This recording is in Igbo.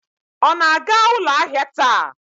Ọ na-aga ụlọ ahịa taa?